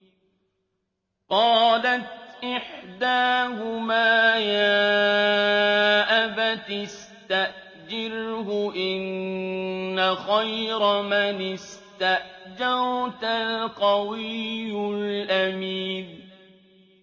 قَالَتْ إِحْدَاهُمَا يَا أَبَتِ اسْتَأْجِرْهُ ۖ إِنَّ خَيْرَ مَنِ اسْتَأْجَرْتَ الْقَوِيُّ الْأَمِينُ